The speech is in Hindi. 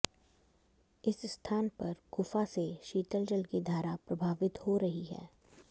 इस स्थान पर गुफा से शीतल जल की धारा प्रभावित हो रही है